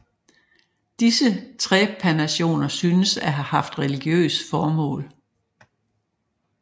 Disse trepanationer synes at have haft religiøse formål